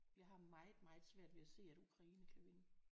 Jeg har meget meget svært ved at se at Ukraine kan vinde